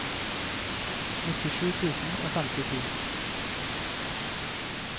nittisju tusen og femtito